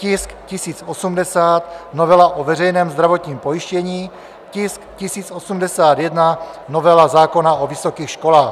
tisk 1080, novela o veřejném zdravotním pojištění; tisk 1081, novela zákona o vysokých školách.